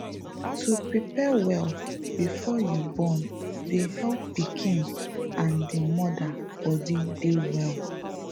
to prepare well before you born dey help pikin and d moda body dey well